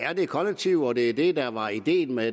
er det kollektive og det var det der var ideen med